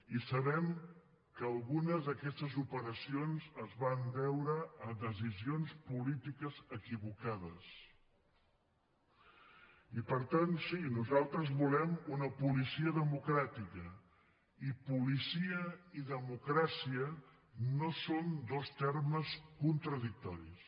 i sabem que algunes d’aquestes operacions es van deure a decisions polítiques equivocades i per tant sí nosaltres volem una policia democràtica i policia i democràcia no són dos termes contradictoris